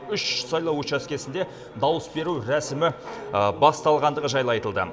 үш сайлау учаскесінде дауыс беру рәсімі басталғандығы жайлы айтылды